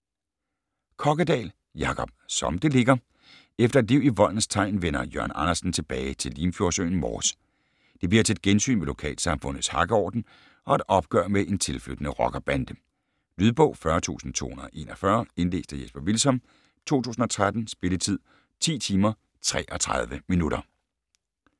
Kokkedal, Jacob: Som det ligger Efter et liv i voldens tegn vender Jørn Andersen tilbage til limfjordsøen Mors. Det bliver til et gensyn med lokalsamfundets hakkeorden og et opgør med en tilflyttende rockerbande. Lydbog 40241 Indlæst af Jesper Hvilsom, 2013. Spilletid: 10 timer, 33 minutter.